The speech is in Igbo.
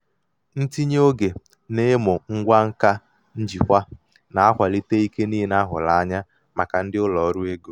ntinye oge n'ịmụ ngwa nka njikwa na-akwalite ike niile a hụrụ anya maka ndị ụlọ ọrụ ego. ego.